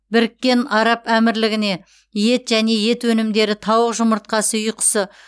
біріккен араб әмірлігіне ет және ет өнімдері тауық жұмыртқасы үй құсы